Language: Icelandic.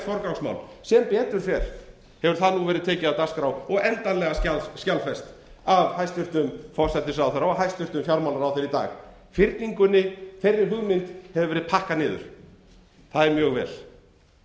forgangsmál sem betur fer hefur það verið tekið af dagskrá og endanlega skjalfest af hæstvirtum forsætisráðherra og hæstvirtur fjármálaráðherra í dag hugmyndinni um fyrningu hefur verið pakkað niður og það